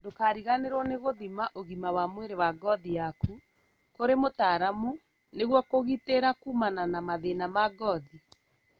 Ndũkariganĩrwo nĩ gũthima ũgima wa mwĩrĩ wa ngothi yaku kũrĩ mũtaramu nĩguo kũgitĩra kumana na mathĩna ma ngothi